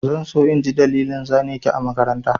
Zan so in ji dalilin zane ki a makaranta.